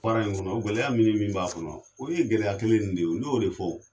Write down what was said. Baara in kɔnɔ gɛlɛya min ni min b'a kɔnɔ o ye gɛlɛya kelen nin de ye o n'o de fɔ